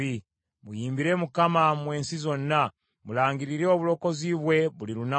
Muyimbire Mukama , mmwe ensi zonna; mulangirire obulokozi bwe buli lunaku.